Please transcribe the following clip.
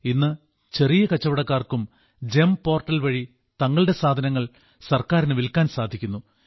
ഇന്ന് ചെറിയ കച്ചവടക്കാർക്കും ഗെം പോർട്ടൽ വഴി തങ്ങളുടെ സാധനങ്ങൾ സർക്കാരിന് വിൽക്കാൻ സാധിക്കുന്നു